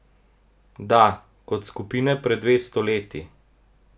Da, kot skupine pred dvesto leti!